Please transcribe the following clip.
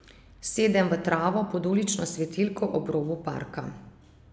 Sedem v travo pod ulično svetilko ob robu parka.